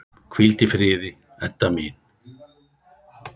Hvíldu í friði, Edda mín.